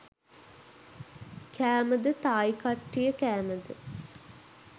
කෑමද තායි කට්ටිය කෑමද?